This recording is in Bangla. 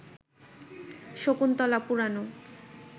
শকুন্তলা পুরানো